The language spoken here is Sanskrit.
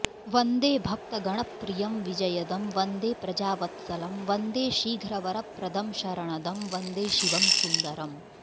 वन्दे भक्तगणप्रियं विजयदं वन्दे प्रजावत्सलं वन्दे शीघ्रवरप्रदं शरणदं वन्दे शिवं सुन्दरम्